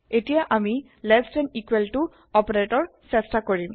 এতিয়া আমি less than equal to operator চেষ্টা কৰিম